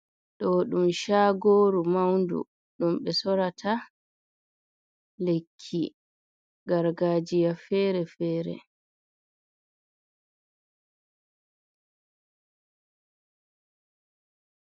Do dum chagoru maundu, dum be sorata lekki gargajiya fere-fere.